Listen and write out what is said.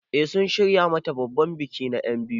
Eh sun shirya mata babban biki na enbiyu.